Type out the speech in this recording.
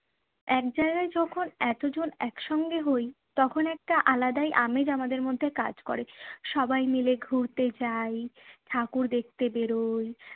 একজায়গায় যখন এতজন একসঙ্গে হই তখন একটা আলাদাই আমেজ আমাদের মধ্যে কাজ করে। সবাই মিলে ঘুরতে যাই, ঠাকুর দেখতে বেরোই